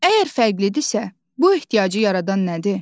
Əgər fərqlidirsə, bu ehtiyacı yaradan nədir?